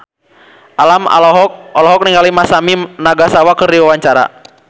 Alam olohok ningali Masami Nagasawa keur diwawancara